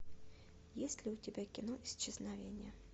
есть ли у тебя кино исчезновение